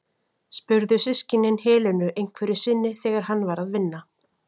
spurðu systkinin Helenu einhverju sinni þegar hann var að vinna.